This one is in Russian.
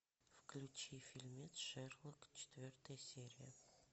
включи фильмец шерлок четвертая серия